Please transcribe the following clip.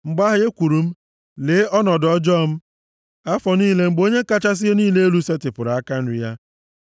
Mgbe ahụ, ekwuru m, “Lee ọnọdụ ọjọọ m, afọ niile mgbe Onye kachasị ihe niile elu setịpụrụ aka nri ya.